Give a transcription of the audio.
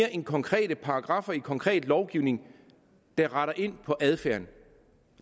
end konkrete paragraffer i konkret lovgivning der retter ind på adfærden